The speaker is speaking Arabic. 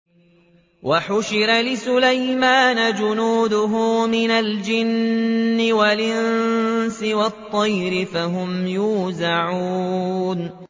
وَحُشِرَ لِسُلَيْمَانَ جُنُودُهُ مِنَ الْجِنِّ وَالْإِنسِ وَالطَّيْرِ فَهُمْ يُوزَعُونَ